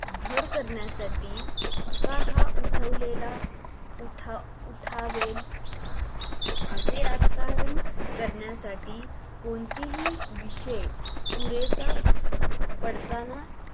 घर करण्यासाठी का हा उठवलेला उठ उठावेल असे राजकारण करण्यासाठी कोणतीही विशेष पुरेसा पडताना